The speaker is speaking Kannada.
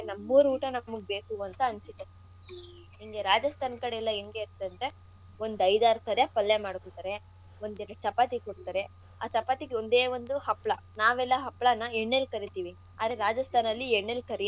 ನಮ್ಮೂರ್ ಊಟ ನಮಿಗ್ ಬೇಕು ಅಂತ ಅನ್ಸುತ್ತೆ ಈಗ ರಾಜಸ್ಥಾನ್ ಕಡೆಯೆಲ್ಲ ಎಂಗೆ ಅಂತಂದ್ರೆ ಒಂದ್ ಐದ್ ಆರ್ ಥರಾ ಪಲ್ಯ ಮಾಡಿರ್ತಾರೆ, ಒಂದೆರಡು ಚಪಾತಿ ಕೊಡ್ತಾರೆ. ಆ ಚಪಾತಿಗ್ ಒಂದೇ ಒಂದು ಹಪ್ಳ ನಾವೆಲ್ಲ ಹಪ್ಳನ ಎಣ್ಣೆಲ್ ಕರಿತಿವಿ ಅದ್ರೆ ರಾಜಸ್ಥಾನ್ ಅಲ್ಲಿ ಎಣ್ಣೆಲ್ ಕರಿಯಲ್ಲ.